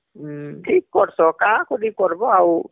ହଁ ଠିକ କରିଛ କାଁ କରି କରବ ଆଉ